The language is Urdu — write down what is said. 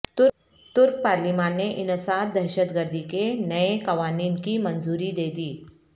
ترک پارلیمان نے انسداد دہشت گردی کے نئے قوانین کی منظوری دے دی